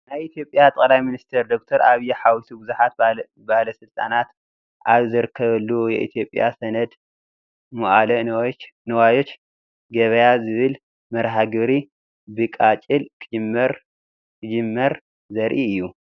ናይ ኢ/ያ ጠ/ሚኒስተር ዶ/ር ኣብይ ሓዊሱ ብዙሓት ባለስልጣናት ኣብ ዝተረኸብሉ "የኢትዮጵያ ሰነደ ሙዓለ ንዋዮች ገበያ " ዝብል መርሀ ግብሪ ብቃጭል ክጅመር ዘርኢ እዩ፡፡